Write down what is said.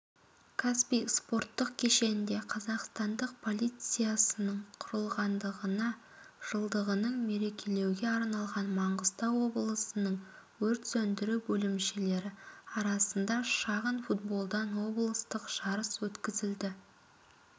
каспий спорттық кешенінде қазақстандық полициясының құрылғандығына жылдығын мерекелеуге арналған маңғыстау облысының өрт сөндіру бөлімшелері арасында шағын футболдан облыстық жарыс өткізілді